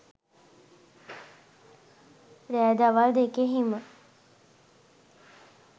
රෑ දවල් දෙකෙහිම